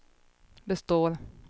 består